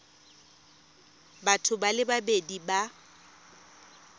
batho ba le babedi ba